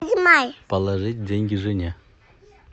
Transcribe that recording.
положить деньги жене